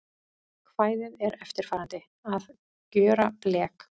Kvæðið er eftirfarandi: Að gjöra blek